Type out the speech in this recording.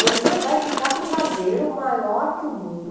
Você vai ficar com o traseiro maior que o mundo.